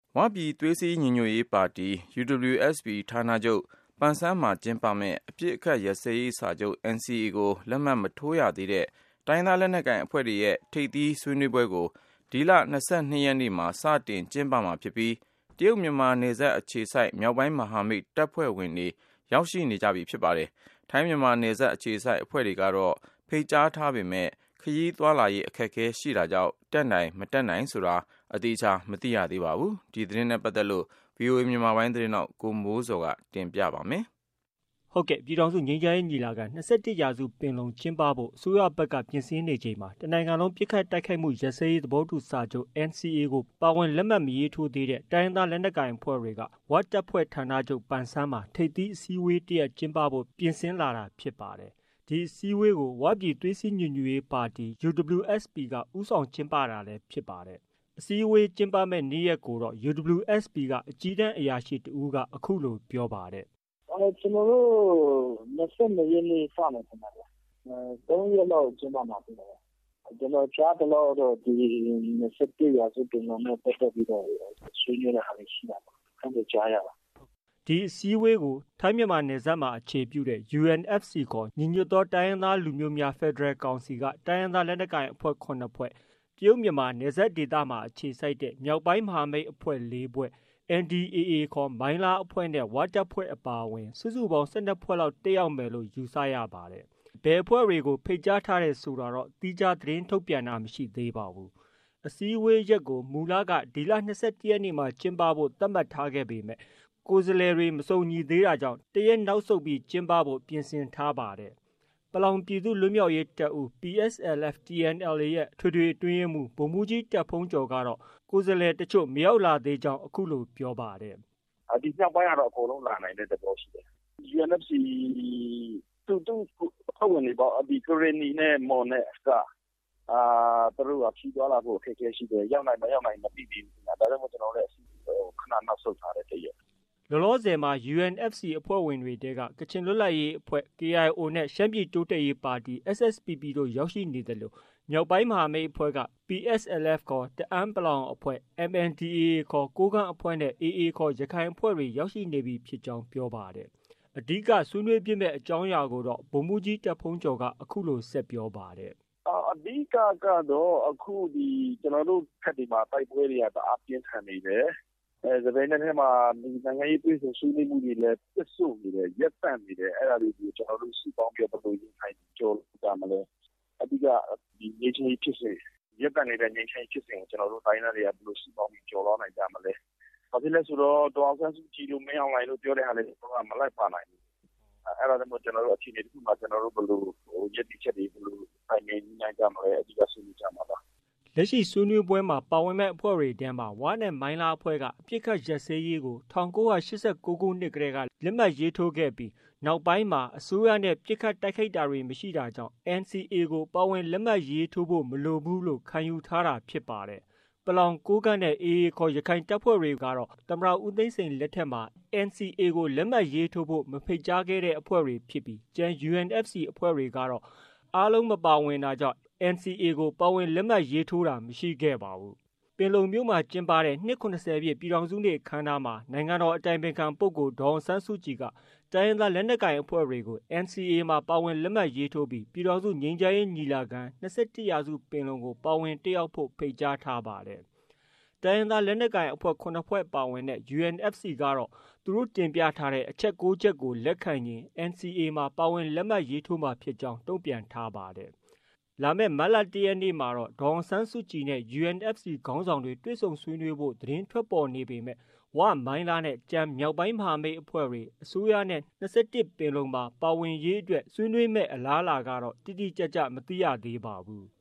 ဝပြည်သွေးစည်းညီညွတ်ရေးပါတီ UWSP ဌာနချုပ် ပန်ဆန်းမှာကျင်းပမယ့် အပစ်အခတ်ရပ်စဲရေးစာချုပ် NCA ကို လက်မှတ်မရေးထိုးသေးတဲ့ တိုင်းရင်းသားလက်နက်ကိုင်အဖွဲ့တွေရဲ့ ထိပ်သီးဆွေးနွေးပွဲကို ဒီလ၂၂ ရက်နေ့မှာ စတင်ကျင်းပမှာဖြစ်ပြီး တရုတ်- မြန်မာနယ်စပ်အခြေစိုက် မြောက်ပိုင်းမဟာမိတ်အဖွဲ့ဝင်တွေကတော့ ရောက်ရှိနေပြီဖြစ်ပါတယ်။ ထိုင်း-မြန်မာနယ်စပ်အခြေစိုက် အဖွဲ့တွေကတော့ ဖိတ်ကြားထားပေမယ့် ခရီးသွားလာဖို့ အခက်အခဲရှိနေတာကြောင့် တက်နိုင် မတက်နိုင် ဆိုတာ သေချာမသိရသေးပါဘူး။ ဒီသတင်းကိုတော့ ဗွီအိုအေ မြန်မာပိုင်းရဲ့သတင်းထောက် ကိုမိုးဇော်က တင်ပြထားပါတယ်။ ပြည်ထောင်စုငြိမ်းချမ်းရေးညီလာခံ - ၂၁ရာစုပင်လုံကျင်းပဖို့ အစိုးရဘက်က ပြင်ဆင်နေချိန်မှာ တနိုင်ငံလုံးပစ်ခတ်တိုက်ခိုက်မှုရပ်စဲရေးသဘောတူစာချုပ် NCA ကို ပါဝင်လက်မှတ်မရေးထိုးရသေးတဲ့ တိုင်းရင်းသားလက်နက်ကိုင်အဖွဲ့တွေက ဝတပ်ဖွဲ့ ဌာနချုပ် ပန်ဆန်းမှာ ထိပ်သီးအစည်းအဝေးတရပ် ကျင်းပဖို့ ပြင်ဆင်လာတာဖြစ်ပါတယ်။ ဒီအစည်းအဝေးကို ဝပြည်သွေးစည်းညီညွတ်ရေးပါတီ UWSP က ဦးဆောင်ကျင်းပတာလည်း ဖြစ်ပါတယ်။ အစည်းအဝေးကျင်းပမယ့် နေ့ရက်ကိုတော့ UWSP က အကြီးတန်း အရာရှိတဦးက အခုလို ပြောပါတယ်။ “ကျနော်တို့ ၂၂ ရက်နေ့ စမယ်ထင်တယ်ခင်ဗျ၊ ၃ ရက်လောက်ကျင်းပမှာဖြစ်ပါတယ်။ ကျနော်ကြားသလောက်ကတော့ ဒီ ၂၁ ရာစုပင်လုံနဲ့ ပတ်သက်ပြီးတော့ ဆွေးနွေးတာတွေရှိမှာပါ အဲလိုကြားပါတယ်။” ဒီအစည်းအဝေးကို ထိုင်း-မြန်မာနယ်စပ်မှာ အခြေပြုတဲ့UNFC ခေါ် ညီညွတ်သောတိုင်းရင်းသားလူမျိုးများ ဖက်ဒရယ်ကောင်စီက တိုင်းရင်းသားလက်နက်ကိုင်အဖွဲ့ ၇ဖွဲ့၊ တရုတ်-မြန်မာနယ်စပ်ဒေသအခြေစိုက် မြောက်ပိုင်းမဟာမိတ်အဖွဲ့ဝင် ၄ဖွဲ့၊ NDAA ခေါ် မိုင်းလားအဖွဲ့နဲ့ ဝတပ်ဖွဲ့ အပါအဝင် စုစုပေါင်း ၁၂ဖွဲ့လောက် တက်ရောက်မယ်လို့ ယူဆရပါတယ်။ ဒါပေမယ့် ဘယ်အဖွဲ့တွေဖိတ်ကြားထားတယ်ဆိုတာတော့ သီးခြားသတင်းထုတ်ပြန်တာမရှိပါဘူး။ အစည်းအဝေးရက်ကို မူလက ၂၁ရက်နေ့မှာ စတင်ဖို့ သတ်မှတ်ထားပေမဲ့ ကိုယ်စားလှယ်တွေ မစုံညီသေးတာကြောင့် တရက် နောက်ဆုတ်ပြီး ကျင်းပဖို့ ပြင်ဆင်ခဲ့တာလည်း ဖြစ်ပါတယ်။ ပလောင်ပြည်လွတ်မြောက်ရေးတပ်ဦး PSLF/ TNLA ရဲ့ အထွေထွေ အတွင်းရေးမှုး ဗိုလ်မှုးကြီး တာ့ဘုန်းကျော်ကတော့ ကိုယ်စားလှယ်တချို့ မရောက်လာသေးကြောင်း အခုလို ပြောပါတယ်။ “ဒီမြောက်ပိုင်းကတော့ အကုန်လုံးလာနိုင်တဲ့သဘောရှိတယ်။ ဒီ UNFC အဖွဲ့ဝင်တွေဖြစ်တဲ့ ကရင်နီနဲ့ မွန်နဲ့က သူတို့က ခရီးသွားလာဖို့ အခက်အခဲရှိတယ်ရောက်နိုင်မရောက်နိုင်မသိဘူး၊ ဒါကြောင့်မို့ ကျနော်တို့လည်း ခဏနောက်ဆုတ်ထားတယ် ၁ ရက်။” လောလောဆည်မှာ UNFC အဖွဲ့ဝင်တွေထဲက ကချင်လွတ်လပ်ရေးအဖွဲ့ KIO နဲ့ ရှမ်းပြည်တိုးတက်ရေးပါတီ SSPP တို့ ရောက်ရှိနေသလို မြောက်ပိုင်းမဟာမိတ်အဖွဲ့က PSLF ခေါ် တအာင်း-ပလောင်အဖွဲ့၊ MNDAA ခေါ် ကိုးကန့်အဖွဲ့နဲ့ AA ခေါ် ရခိုင်အဖွဲ့တွေ ရောက်ရှိနေပြီဖြစ်ကြောင်း ပြောပါတယ်။ အဓိက ဆွေးနွေးဖြစ်မယ် အကြောင်းအရာကိုတော့ ဗိုလ်မှုးကြီး တာ့ဘုန်းကျော်က အခုလို ဆက်ပြောပါတယ်။ “အဓိကတော့ ကျနော်တို့ဘက်တွေမှာ အခုကတိုက်ပွဲတွေ တအားပြင်းထန်နေတယ်၊ တပြိုင်နက်ထဲမှာ နိုင်ငံရေးတွေ့ဆုံဆွေးနွေးမှုတွေ ရပ်တန့်နေတယ်။ အဲဒါလေးတွေကို ကျနော်တို့ စုပေါင်းပြီးတော့ ဘယ်လိုရင်ဆိုင်ကျော်လွှားကြမလဲ။ အဓိက ဒီ ရပ်တန့်နေတဲ့ ငြိမ်းချမ်းရေးဖြစ်စဉ် မှာ ကျနော်တို့ တိုင်းရင်းသားတွေက စုပေါင်းပြီး ဘယ်လိုကျော်လွှားနိုင်ကြမလဲ။ ဘာဖြစ်လို့လဲဆိုတော့ ဒေါ်အောင်ဆန်းစုကြည်တို့ မင်းအောင်လှိုင်တို့ ပြောတာတွေမှာလည်း မလိုက်ပါနိုင်ဘူး။ အဲဒါကြောင့်မို့လို့ အခြေအနေတခုမှာ ကျနော်တို့ ဘယ်လိုရပ်တည်ချက်တွေနဲ့ တိုင်ပင်ညှိနှိုင်းကြမလဲ အဓိက ဆွေးနွေးကြမှာပါ။” လက်ရှိ ဆွေးနွေးပွဲမှာ ပါဝင်မယ့်အဖွဲ့တွေထဲမှာ ဝနဲ့ မိုင်းလားအဖွဲ့က အပစ်အခတ်ရပ်စဲရေးကို ၁၉၈၉ ခုနှစ်ကတည်း လက်မှတ်ရေးထိုးပြီး နောက်ပိုင်းမှာ အစိုးရနဲ့ ပစ်ခိုက်တိုက်ခိုက်တာမရှိတာကြောင့် NCAကို ပါဝင် လက်မှတ်ရေးထိုးဖို့ မလိုဘူးလို့ ခံယူထားတာဖြစ်ပါတယ်။ ပလောင်၊ ကိုးကန့်နဲ့ AA ခေါ် ရခိုင်တပ်ဖွဲ့တွေကိုတော့ သမ္မတ ဦးသိန်းစိန်လက်ထက်မှာ NCA ကို လက်မှတ်ရေးထိုးဖို့ မဖိတ်ကြားခဲ့တဲ့ အဖွဲ့တွေဖြစ်ပြီး ကျန် UNFC အဖွဲ့တွေကတော့ အားလုံး မပါဝင်တာကြောင့် NCA ကို ပါဝင် လက်မှတ်ရေးထိုးတာ မရှိခဲ့ပါဘူး။ ပင်လုံမြို့မှာ ကျင်းပတဲ့ နှစ်၇၀ပြည့် ပြည်ထောင်စုနေ့ အခမ်းအနားမှာ နိုင်ငံတော် အတိုင်ပင်ခံ ပုဂ္ဂိုလ် ဒေါ်အောင်ဆန်းစုကြည်က တိုင်းရင်းသားလက်နက်ကိုင်အဖွဲ့တွေကို NCA မှာ ပါဝင်လက်မှတ်ရေးထိုးပြီး ပြည်ထောင်စုငြိမ်းချမ်းရေးညီလာခံ- ၂၁ရာစုပင်လုံကို ပါဝင် တက်ရောက်ဖို့ တိုက်တွန်းထားပါတယ်။ တိုင်းရင်းသားလက်နက်ကိုင်အဖွဲ့ ၇ဖွဲ့ ပါဝင်တဲ့UNFC အဖွဲ့ကတော့ သူတို့ တင်ပြထားတဲ့ အချက် ၉ချက်ကို လက်ခံရင် NCA လက်မှတ်ရေးထိုးမှာဖြစ်ကြောင်း တုံြ့ပန်ထားပါတယ်။ လာမယ့် မတ်လ ၁ရက်နေ့မှာတော့ ဒေါ်အောင်ဆန်းစုကြည်နဲ့ UNFC ခေါင်းဆောင်တွေ တွေ့ဆုံဖို့ သတင်းထွက်ပေါ်နေပေမဲ့ ဝ၊ မိုင်းလားနဲ့ ကျန်မြောက်ပိုင်းမဟာမိတ်အဖွဲ့တွေ အစိုးရနဲ့ ၂၁ပင်လုံမှာ ပါဝင်ရေးအတွက်ဆွေးနွေးမယ့် အလားအလာကတော့ တိတိကျကျ မသိရသေးပါဘူး။